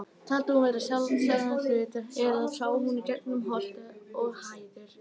Taldi hún það vera sjálfsagðan hlut, eða sá hún í gegnum holt og hæðir?